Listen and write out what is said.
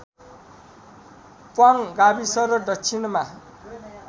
प्वाङ गाविस र दक्षिणमा